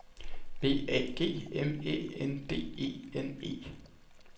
B A G M Æ N D E N E